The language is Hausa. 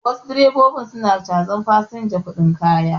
Wasu direbobin su na cazar fasinja kuɗin kaya